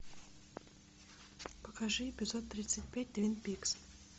покажи эпизод тридцать пять твин пикс